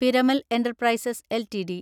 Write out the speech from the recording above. Piramal Enterprises LTD